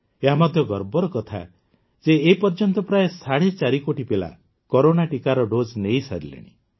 ଏହା ମଧ୍ୟ ଗର୍ବର କଥା ଯେ ଏ ପର୍ଯ୍ୟନ୍ତ ପ୍ରାୟ ସାଢ଼େ ଚାରି କୋଟି ପିଲା କରୋନା ଟିକାର ଡୋଜ୍ ନେଇସାରିଲେଣି